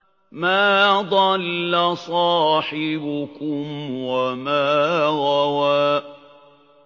مَا ضَلَّ صَاحِبُكُمْ وَمَا غَوَىٰ